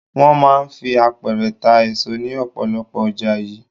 Wọ́n máa ń fi àpẹrẹ ta èso ní ọ̀pọ̀lọpọ̀ ọjà yìí.